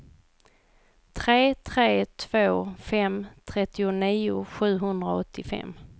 tre tre två fem trettionio sjuhundraåttiofem